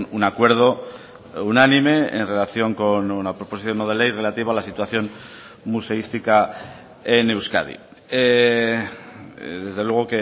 un acuerdo unánime en relación con una proposición no de ley relativa a la situación museística en euskadi desde luego